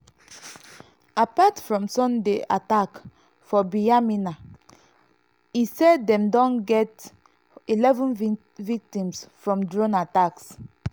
apart from from sunday attack for binyamina e say dem don get eleven victims from drone attacks.